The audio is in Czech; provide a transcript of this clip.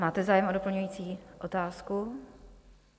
Máte zájem o doplňující otázku?